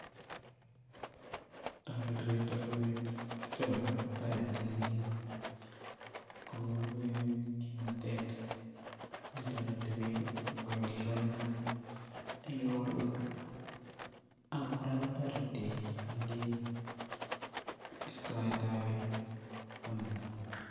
Toreti koisto rubet akityo kora toreti eng' iin kokonu iin kimnotet netoreti biik koyai boishonik alak eng' ikorwek, ak kora kotoreti eng' iin istoetab bananda.